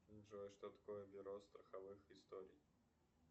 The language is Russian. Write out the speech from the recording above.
джой что такое бюро страховых историй